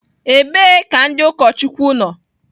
Ebee ka ndị ụkọchukwu nọ?